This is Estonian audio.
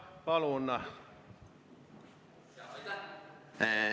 Aitäh!